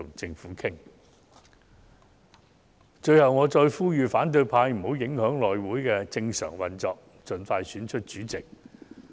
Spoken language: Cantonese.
最後，我再次呼籲反對派不要影響內務委員會的正常運作，盡快選出主席。